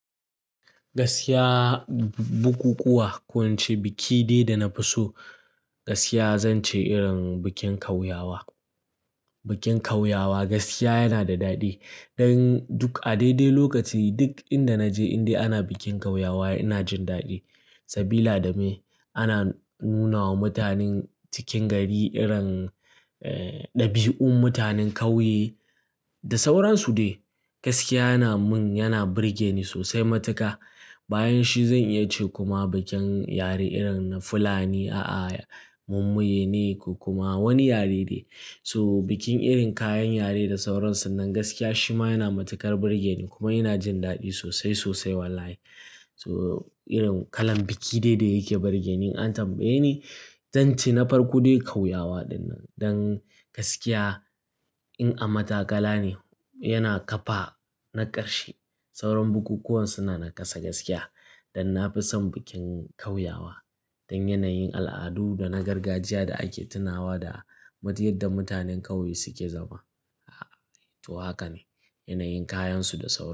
Gaskiya, bukukuwa. Ko nace biki dai da na fi so, gaskiya zan ce irin bikin kauyawa. Bikin kauyawa gaskiya yana da daɗi. Dan duk a daidai lokaci duk inda naje in dai ana bikin kauyawa ina jin daɗi. Sabila dame ana nuna wa mutanen cikin gari irin, eh, ɗabi'un mutanen ƙauye da sauransu dai. Gaskiya yana mun, yana burge ni sosai matuƙa. Bayan shi zan iya ce kuma bikin yare irin na Fulani, a'a, mun maye ne ko kuma wani yare ne. So bikin irin kayan yare da sauransu nan gaskiya shi ma yana matuƙar burge ni kuma ina jin daɗi sosai sosai wallahi. So irin kalan biki dai-dai yake burge ni an tambaye ni, zan ce na farko dai kauyawa dinnan. Dan gaskiya in a matakala ne yana kafa na ƙarshe. Sauran bukukuwan suna na ƙasa gaskiya. Dan na fi son bikin kauyawa. Dan yanayin, al'adu da na gargajiya da ake tunawa da mijiyar da mutanen ƙauye suke zama. A'a, to haka ne. Yanayin kayansu da sauransu.